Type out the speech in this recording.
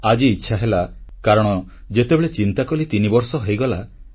ଆଜି ଇଚ୍ଛା ହେଲା କାରଣ ଯେତେବେଳେ ଚିନ୍ତାକଲି ତିନିବର୍ଷ ହୋଇଗଲା